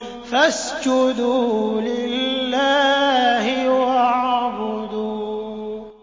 فَاسْجُدُوا لِلَّهِ وَاعْبُدُوا ۩